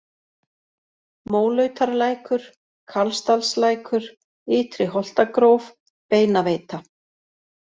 Mólautarlækur, Karlsdalslækur, Ytri-Holtagróf, Beinaveita